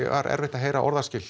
var erfitt að heyra orðaskil